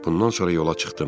Bundan sonra yola çıxdım.